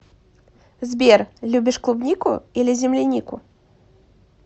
сбер любишь клубнику или землянику